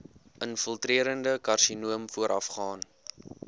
infiltrerende karsinoom voorafgaan